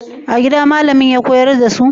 A gida malamin ya koyar da su?